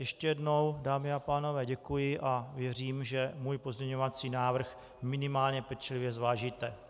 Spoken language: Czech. Ještě jednou, dámy a pánové, děkuji a věřím, že můj pozměňovací návrh minimálně pečlivě zvážíte.